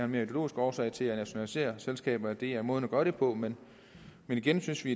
mere ideologisk årsag til at ville nationalisere selskaber at det er måden at gøre det på men igen synes vi